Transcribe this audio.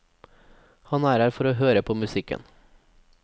Han er her for å høre på musikken.